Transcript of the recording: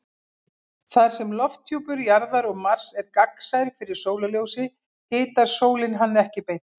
Þar sem lofthjúpur Jarðar og Mars er gagnsær fyrir sólarljósi hitar sólin hann ekki beint.